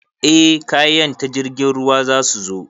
Eh kayan ta jirgin ruwa zasu zo